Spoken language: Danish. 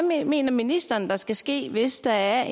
hvad mener ministeren der skal ske hvis der